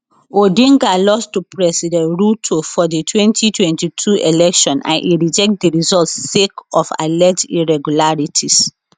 odinga lost to president ruto for di 2022 election and e reject di results sake of alleged irregularities